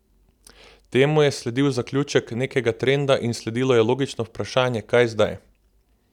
Temu je sledil zaključek nekega trenda in sledilo je logično vprašanje, kaj zdaj?